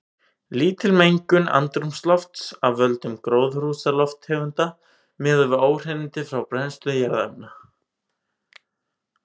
Lítil mengun andrúmslofts af völdum gróðurhúsalofttegunda miðað við óhreinindi frá brennslu jarðefna.